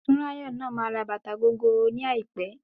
Tunrayo náà máa ra bàtà gogoro ní àìpẹ́.